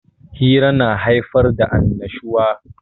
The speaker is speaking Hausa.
Hira na haifar da annashuwa.